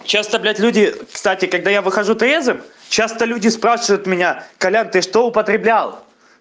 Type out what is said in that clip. часто блядь люди кстати когда я выхожу трезвым часто люди спрашивают меня колян ты что употреблял